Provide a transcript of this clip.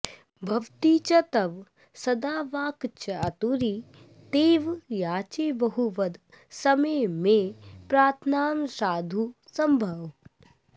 भवति च तव सद्वाक्चातुरी तेव याचे बहु वद समये मे प्रार्थनां साधु शम्भोः